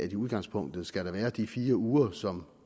i udgangspunktet skal være de fire uger som